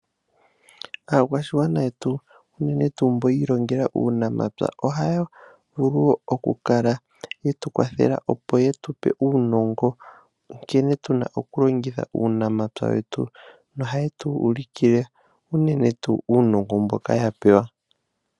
Aakwashigwana yetu, unene tuu mbo yi ilongela uunamapya, oha ya vulu oku kala yetu kwathela opo ye tupe uunongo nkene tuna oku longitha uunamapya wetu yo oha ye tu uli ki le unene tuu uunongo mbika ya pewa